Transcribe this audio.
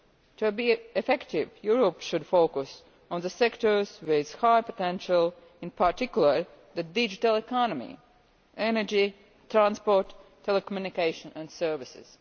To be effective, Europe should focus on the sectors with highest potential, in particular the digital economy, energy, transport, telecommunications and services.